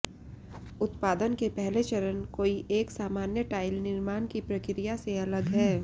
उत्पादन के पहले चरण कोई एक सामान्य टाइल निर्माण की प्रक्रिया से अलग हैं